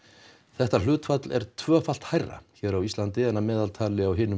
þetta hlutfall er tvöfalt hærra hér á Íslandi en að meðaltali á hinum